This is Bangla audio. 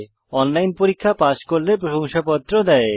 অনলাইন পরীক্ষা পাস করলে প্রশংসাপত্র দেওয়া হয়